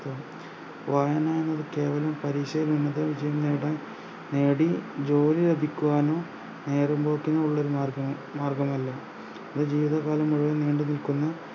വായനാ എന്നൊരു കേവലം പരീഷയിൽ ഉന്നതവിജയം നേടാൻ നേടി ജോലി ലഭിക്കുവാനോ നേരംപോക്കിനോ ഉള്ളൊരു മാർഗം മാർഗ്ഗമല്ല ഇത് ജീവിതകാലം മുഴുവൻ നീണ്ടുനിൽക്കുന്ന